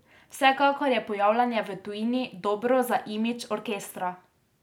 Vsekakor je pojavljanje v tujini dobro za imidž orkestra.